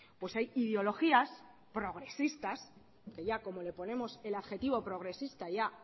pues hay ideologías progresistas que ya como le ponemos el adjetivo progresista ya